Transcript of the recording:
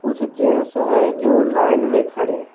कुछ जेंस हैं जो लाइन में खड़े हैं।